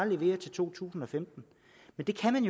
levere til to tusind og femten men det kan